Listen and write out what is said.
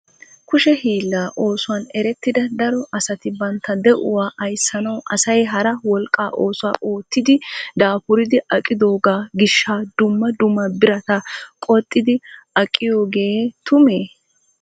Kushshe hiilla oosuwan erettida daro asati bantta de'uwaa ayssanaw asay hara wolqqa oosuwaa oottidi daafuridi aqqitooga gishsha dumma dumma birata qoxxidi aqqiyooge tume?